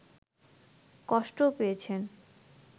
কষ্টও পেয়েছেন